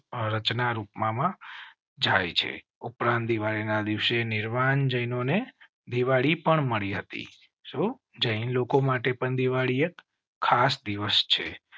રચના રૂપ માં જાય છે. ઉપરાંત દિવાળી ના દિવસે નિર્વાણ. જૈનો ને દિવાળી પણ મળી હતી સુ જૈન લોકો માટે પણ દિવાળી એક ખાસ દિવસ છે